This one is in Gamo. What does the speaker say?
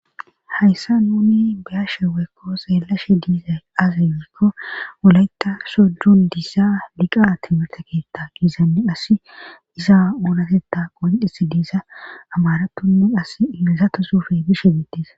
hayssa nuni beyashe weekko xeelashe diizay azi wiikko woleta sodon diza liqa timirte keetta giizanni as isa oolateta qondis diisa amaratunni as iizatosufe bishe biittisa